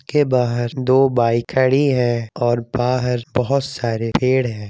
के बाहर दो बाइक खड़ी है और बाहर बहोत सारे पेड़ है।